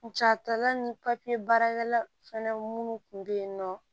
Ca tɔla ni papiye baarakɛla fana minnu kun bɛ yen nɔ